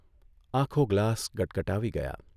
આખો ગ્લાસ ગટગટાવી ગયા